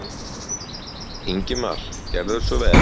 Ingimar gerðu svo vel.